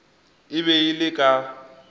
e be e le ka